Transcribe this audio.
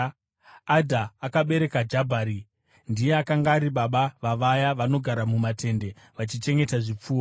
Adha akabereka Jabhari, ndiye akanga ari baba vavaya vanogara mumatende vaichengeta zvipfuwo.